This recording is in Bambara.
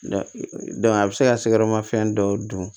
a bɛ se ka kɛyɔrɔma fɛn dɔ dun